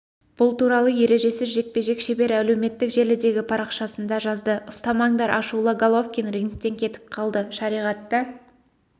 бұл туралы ережесіз жекпе-жек шебері әлеуметтік желідегі парақшасында жазды ұстамаңдар ашулы головкин рингтен кетіп қалды шариғатта